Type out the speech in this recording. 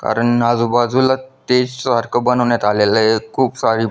कारण आजूबाजूला स्टेज सारख बनवन्यात आलेल आहे खूप सारी--